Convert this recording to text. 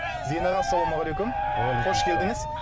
зейін аға ассалаумағалейкум қош келдіңіз